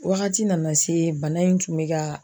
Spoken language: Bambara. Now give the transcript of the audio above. Wagati nana se bana in tun bɛ ka